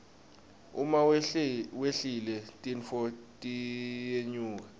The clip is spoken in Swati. uma wehlile tintfo tiyenyuka